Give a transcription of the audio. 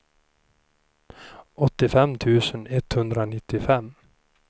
åttiofem tusen etthundranittiofem